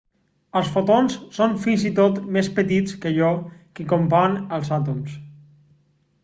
els fotons són fins i tot més petits que allò que compon els àtoms